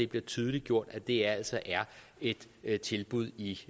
bliver tydeliggjort at det altså er et et tilbud i